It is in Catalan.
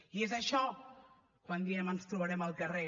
i és això quan diem ens trobarem al carrer